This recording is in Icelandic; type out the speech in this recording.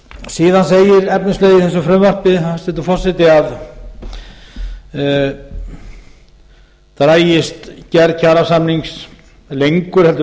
saman segir efnislega í þessu frumvarpi hæstvirtur forseti að dragist gerð kjarasamnings lengur en